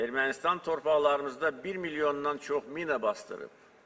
Ermənistan torpaqlarımızda 1 milyondan çox mina basdırıb.